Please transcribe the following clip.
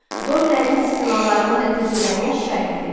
Dorilərin istilalarının nəticələrini şərh edin.